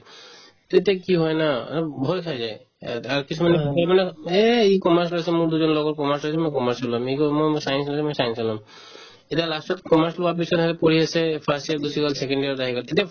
তেতিয়া কি হয় না সিহঁতে ভয় খাই যায় ইয়াত আৰু কিছুমানে সোধে মানে এই ই commerce লৈছে মোৰ দুজন লগৰ commerce লৈছে ময়ো commerce লৈ ল'ম আমি ক'লো মই মই science লৈছো মই science য়ে ল'ম তেতিয়া last তত commerce লোৱাৰ পিছত সিহঁতে পঢ়ি আছে এই first year গুচি second year ত আহি গ'ল তেতিয়া